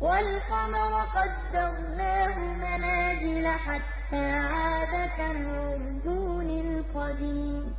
وَالْقَمَرَ قَدَّرْنَاهُ مَنَازِلَ حَتَّىٰ عَادَ كَالْعُرْجُونِ الْقَدِيمِ